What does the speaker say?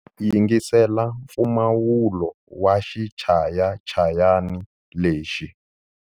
Yingisela mpfumawulo wa xichayachayani lexi.